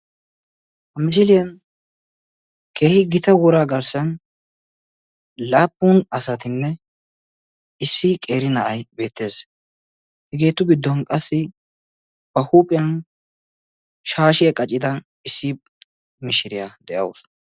Misiliyan keehin gita wora garssan laappun asatinne issi qeeri na'ay beettes, hegeetu giddon qassi ba huuphiyan shashiya qacida issi mishiriya de'awus.